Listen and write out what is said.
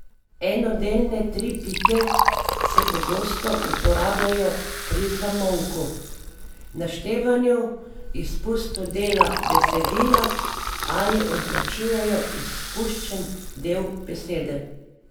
Enodelne tri pike se pogosto uporabljajo pri zamolku, naštevanju, izpustu dela besedila ali označujejo izpuščen del besede.